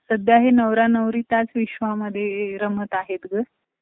कोणी आयकतो किवा कोणी कोणी online job करत तर त्या त्यांच्या घराकडे चांगला लक्ष देऊ शकतात मुल बाळांच व्यवस्थित